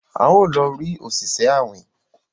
a o lọ rí Oṣiṣẹ awin.